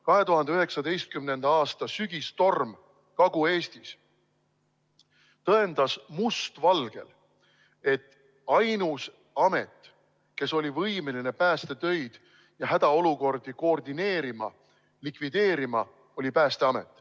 2019. aasta sügistorm Kagu-Eestis tõendas must valgel, et ainus amet, kes oli võimeline päästetöid koordineerima ja hädaolukorda likvideerima, oli Päästeamet.